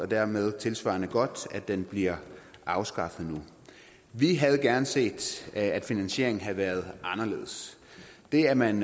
dermed tilsvarende godt at den bliver afskaffet nu vi havde gerne set at finansieringen havde været anderledes det at man